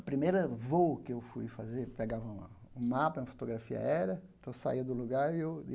Primeira voo que eu fui fazer, pegavam uma um mapa, e uma fotografia era, então saía do lugar e eu.